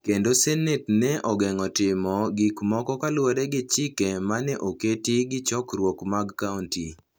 kendo Senet ne ogeng’o timo gik moko kaluwore gi chike ma ne oket gi chokruoge mag kaonti.